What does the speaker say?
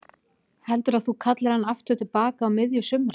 Heldurðu að þú kallir hann aftur til baka á miðju sumri?